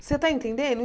Você tá entendendo?